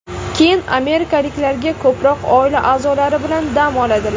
Keyin amerikaliklar ko‘proq oila a’zolari bilan dam oladilar.